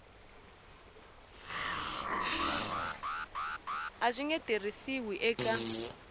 a swi nge tirhisiwi eka